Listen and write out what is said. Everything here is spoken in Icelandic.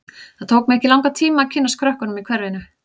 Það tók mig ekki langan tíma að kynnast krökkunum í hverfinu.